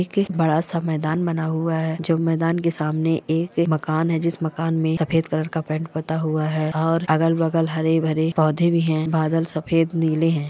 एक बडा सा मैदान बना हुआ है जो मैदान के सामने एक मकान है जिस मकान में सफेद कलर का पैंट पूता हुआ है और अगल- बगल हरे -भरे पोधे भी है बादल सफेद नीले है।